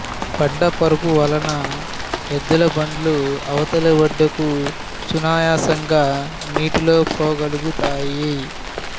బండపరుపువలన ఎద్దుల బండ్లు అవతలి ఒడ్డుకు సునాయాసంగా నీటిలో పోగలుగుతాయి